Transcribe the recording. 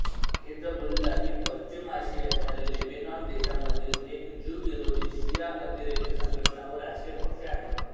Hezbollah ही पश्चिम आशियाच्या लेबेनॉन देशामधील एक ज्यूविरोधी शिया अतिरेकी संघटना व राजकीय पक्ष आहे